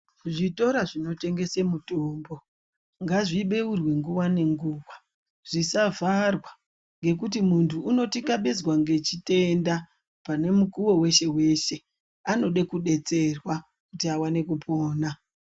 Zvitora zvinotengesa mutombo ngazvibeurwe nguwa ngenguwa zvisavharwa ngekuti muntu unotikabezwa ngechitenda pane mukuwo weshe weshe anoda kudetserwa kuti awane kupona.